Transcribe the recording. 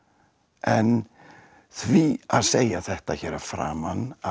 en því að segja þetta hér að framan að